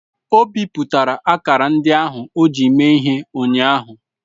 O bipụtara akara ndị ahụ o ji mee ihe ụnyaahụ.